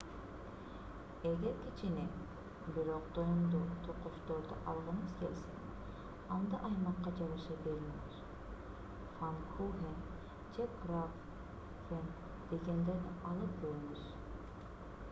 эгер кичине бирок тоюмдуу токочторду алгыңыз келсе анда аймакка жараша берлинер пфаннкухен же крапфен дегендерди алып көрүңүз